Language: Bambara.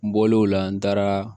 N bɔlen o la n taara